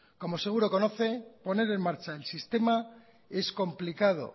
como seguro conoce poner en marcha el sistema es complicado